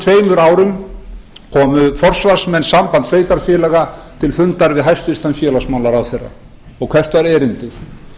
tveimur árum komu forsvarsmenn sambands sveitarfélaga til fundar við hæstvirtan félmrh og hvert var erindið